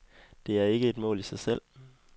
Det er ikke et mål i sig selv.